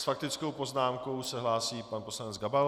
S faktickou poznámkou se hlásí pan poslanec Gabal.